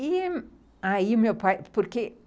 E, aí meu pai, porque